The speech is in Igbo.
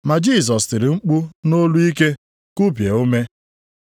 Ma Jisọs tiri mkpu nʼolu ike, kubie ume.